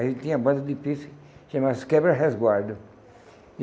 A gente tinha uma banda de pife chamava-se Quebra Resguardo.